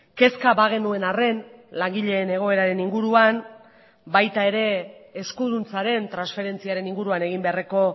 kezka bagenuen arren langileen egoeraren inguruan baita ere eskuduntzaren transferentziaren inguruan egin beharreko